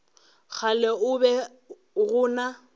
kgale go be go na